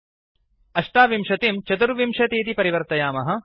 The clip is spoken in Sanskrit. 28 अष्टाविंशतिं 24 इति परिवर्तयामः